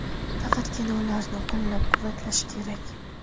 Faqatgina ularni qo‘llab-quvvatlash kerak.